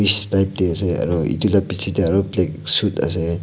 ash type te ase aru etu la piche te aru black suit ase.